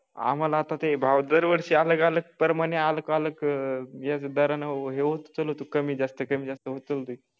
आम्हाला आता ते भाव दरवर्षी अलग अलग प्रमाणे अलग अलग अह दराने उचल होते कमी जास्त कमी जास्त उचल होते.